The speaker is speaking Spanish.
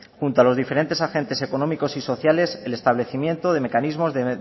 junto a los diferentes agentes económicos y sociales el establecimiento de mecanismos de